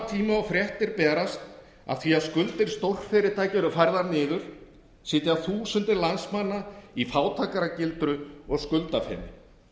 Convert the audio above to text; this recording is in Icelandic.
tíma og fréttir berast af því að skuldir stórfyrirtækja eru færðar niður sitja þúsundir landsmanna í fátækra gildru og skuldafeni